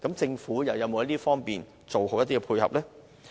政府有否在這方面做好配合？